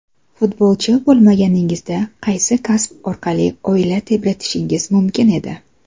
Futbolchi bo‘lmaganingizda, qaysi kasb orqali oila tebratishingiz mumkin edi?